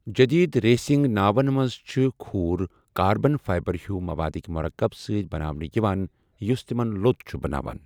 جدید ریسنگ ناوَن منٛز چھِ کھوٗر کاربن فائبر ہیو موادٕک مرکب سۭتۍ بناونہٕ یِوان یُس تِمَن لوٚت چھُ بَناوان۔